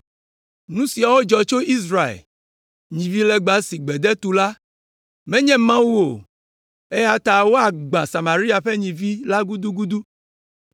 Nu siawo dzɔ tso Israel, nyivilegba si gbede tu la, menye Mawu o, eya ta woagbã Samaria ƒe nyivi la gudugudu.